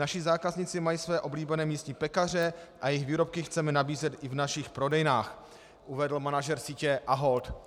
"Naši zákazníci mají své oblíbené místní pekaře a jejich výrobky chceme nabízet i v našich prodejnách," uvedl manažer sítě Ahold.